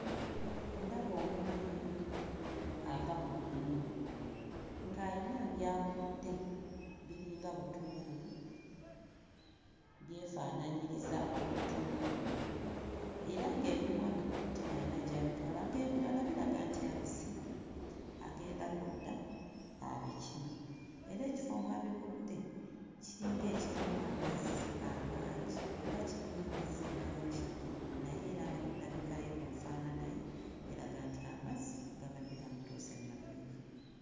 Ndaba omwami ava mu nnimiro ng'ayina by'akudde, biringa butungulu, byefaanaanyiriza obutungulu era ng'ebimu abikutte ayina gy'abitwala, ng'ebirala biraga nti abisibye agenda kudda abikime era ekifo mw'abikudde kiringa ekirimu amazzi amangi oba kirimu amazzi mangi naye era ne ku ndabika ye ku nfaanana ye eraga nti amazzi gabadde gamutuuse mu maviivi.